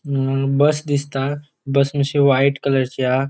अ बस दिसता बस मात्शी व्हाइट कलरची हा.